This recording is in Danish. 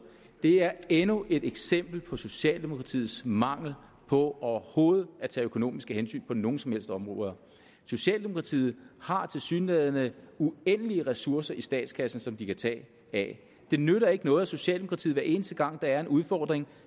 det er endnu et eksempel på socialdemokratiets mangel på overhovedet at tage økonomiske hensyn på nogen som helst områder socialdemokratiet har tilsyneladende uendelige ressourcer i statskassen som de kan tage af det nytter ikke noget at socialdemokratiet hver eneste gang der er en udfordring